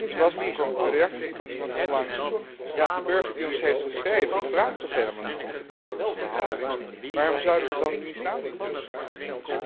Zo was de reactie van iemand onlangs De burger die ons heeft geschreven vraagt toch helemaal niet om vertrouwelijke behandeling? Waarom zouden we dan diens naam niet kunnen vermelden?